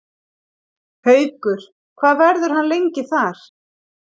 Haukur: Hvað verður hann lengi þar?